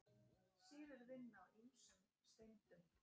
Sýrur vinna á ýmsum steindum.